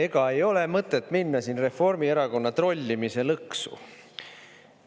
Ega ei ole mõtet minna siin Reformierakonna trollimise lõksu.